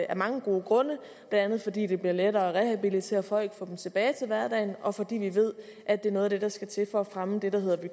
af mange gode grunde blandt andet fordi det bliver lettere at rehabilitere folk og få dem tilbage til hverdagen og fordi vi ved at det er noget af det der skal til for at fremme det der hedder